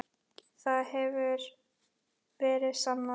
Það hefur verið sannað.